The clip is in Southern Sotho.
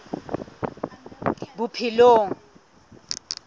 bophelong